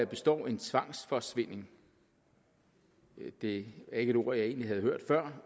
består en tvangsforsvinding det er ikke et ord jeg egentlig havde hørt før